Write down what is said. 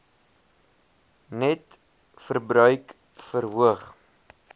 net verbruik verhoog